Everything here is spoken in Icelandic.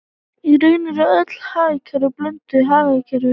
Í raun eru öll hagkerfi blönduð hagkerfi.